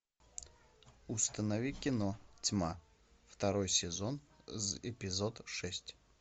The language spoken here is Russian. установи кино тьма второй сезон эпизод шесть